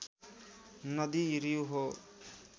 नदी रिउ हो